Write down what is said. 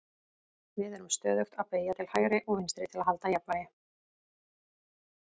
við erum stöðugt að beygja til hægri og vinstri til að halda jafnvægi